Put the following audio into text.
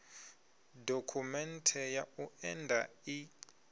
dokhumenthe ya u enda i